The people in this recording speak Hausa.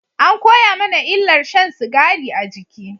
An koya mana illar shan sigari a jiki